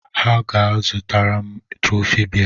Ha ga-aga ịzụtara m trọfị bea